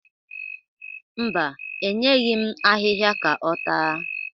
Mba, enyeghi m ahịhịa ka ọ taa.